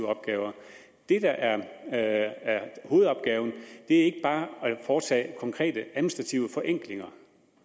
opgaver det der er hovedopgaven er ikke bare at foretage konkrete administrative forenklinger